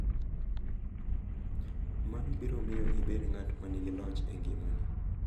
Mano biro miyo ibed ng’at ma nigi loch e ngimani .